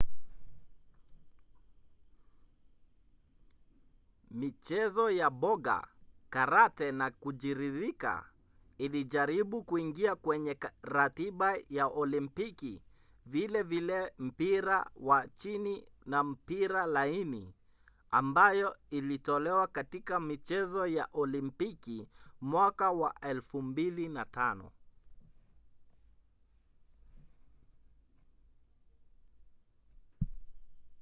michezo ya boga karate na kujiririka ilijaribu kuingia kwenye ratiba ya olimpiki vilevile mpira wa chini na mpira laini ambayo ilitolewa katika michezo ya olimpiki mwaka wa 2005